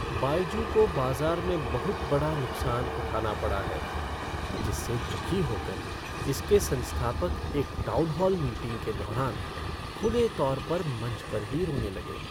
बायजू को बाज़ार में बहुत बड़ा नुकसान उठाना पड़ा है जिससे दुखी होकर इसके संस्थापक एक टाउनहॉल मीटिंग के दौरान खुले तौर पर मंच पर ही रोने लगे।